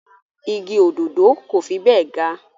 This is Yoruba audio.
Igi òdòdó kò fi bẹ́ẹ̀ ga